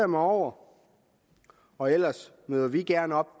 mig over og ellers møder vi gerne op